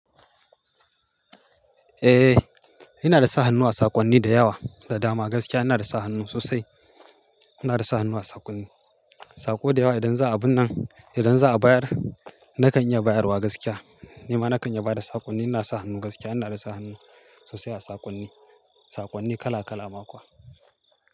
Eh, ina da sa hannu a saƙonni da yawa da dama. Gaskiya ina da sa hannu sosai. Ina da sa hannu a saƙonni, saƙo da yawa. Idan za a binne, idan za a bayar nakan iya bayarwa gaskiya. Nima nakan iya bada saƙonni. Ina sa hannu gaskiya. Ina da sa hannu sosai a saƙonni, saƙonni kala kala ma kuwa.